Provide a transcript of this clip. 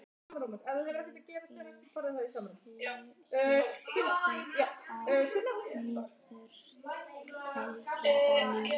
Huginn, slökktu á niðurteljaranum.